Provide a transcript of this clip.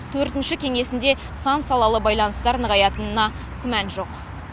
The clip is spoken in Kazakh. төртінші кеңесінде сан салалы байланыстар нығаятынына күмән жоқ